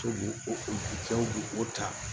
To b'o o bi jaw b'o ta